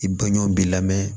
I dɔn ɲɔn b'i lamɛn